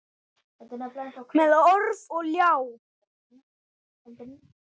Með orf og ljá.